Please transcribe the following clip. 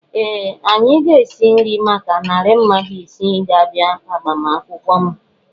Ee! Anyị ga-esi nri maka narị mmadụ isii ga-abịa agbamakwụkwọ m.